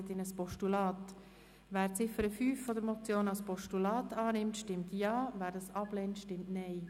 Wer die Ziffer 5 als Postulat annehmen will, stimmt Ja, wer dies ablehnt, stimmt Nein.